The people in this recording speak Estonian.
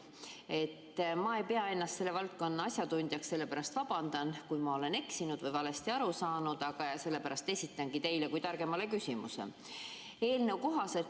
Ma ei pea ennast selle valdkonna asjatundjaks, sellepärast vabandan, kui ma olen eksinud või valesti aru saanud, ja sellepärast esitangi teile kui targemale küsimuse.